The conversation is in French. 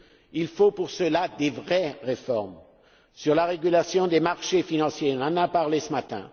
Il faut pour cela de vraies réformes sur la régulation des marchés financiers nous en avons parlé ce matin